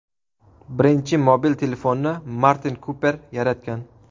Birinchi mobil telefonni Martin Kuper yaratgan.